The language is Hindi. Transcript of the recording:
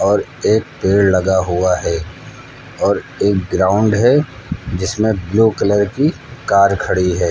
और एक पेड़ लगा हुआ है और एक ग्राउंड है जिसमें ब्लू कलर की कार खड़ी है।